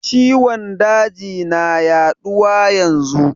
Ciwon daji na yaɗuwa yanzu